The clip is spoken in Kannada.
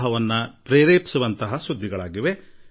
ಬೇಸಿಗೆಯ ಬಿರು ಬಿಸಿಲು ನೀರಿನ ಅಭಾವ ಕ್ಷಾಮ ಪರಿಸ್ಥಿತಿ ಮತ್ತು ಇನ್ನೂ ಹಲವು